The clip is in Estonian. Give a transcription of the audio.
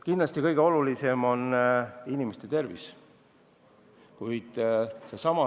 Kindlasti kõige olulisem on inimeste tervis, milline on muudatuse mõju inimeste tervisele.